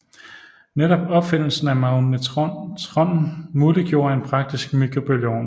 Netop opfindelsen af magnetronen muliggjorde en praktisk mikrobølgeovn